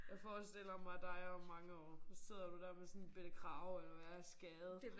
Jeg forestiller mig dig om mange år så sidder du dér med sådan en bette krage eller hvad skade